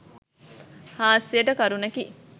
හාස්‍යයට කරුණකි.